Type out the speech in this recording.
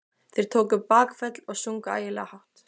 Þeir tóku bakföll og sungu ægilega hátt.